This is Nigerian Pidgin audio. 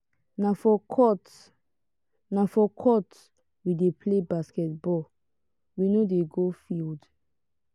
na for court na for court we dey play basket ball we no dey go field.